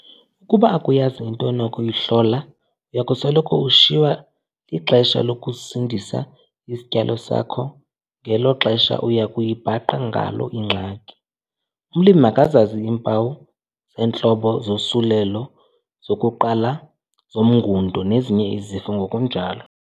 Ukuba akuyazi into onokuyihlola uya kusoloko ushiywa lixesha lokusindisa isityalo sakho ngelo xesha uya kuyibhaqa ngalo ingxaki. Umlimi makazazi iimpawu zeentlobo zosulelo zokuqala zomngundo nezinye izifo ngokunjalo.